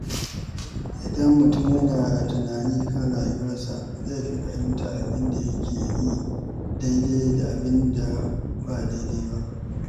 Idan mutum yana yin tunani kan rayuwarsa, zai fi fahimtar abin da yake yi daidai da abin da ba daidai ba.